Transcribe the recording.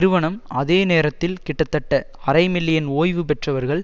நிறுவனம் அதே நேரத்தில் கிட்டத்தட்ட அரை மில்லியன் ஓய்வு பெற்றவர்கள்